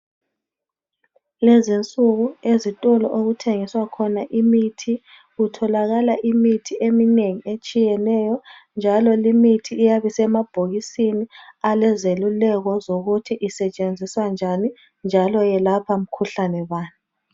Lezinsuku ezitolo okuthengiswa khona imithi kutholakala imithi eminengi etshiyeneyo njalo limithi iyabe isemabhokisini alezeluleko zokuthi isetshenziswa njani njalo ilapha mkhuhlane bani.